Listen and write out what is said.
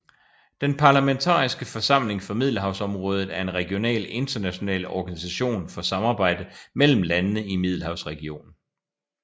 Den parlamentariske forsamling for Middelhavsområdet er en regional international organisation for samarbejde mellem landene i Middelhavsregionen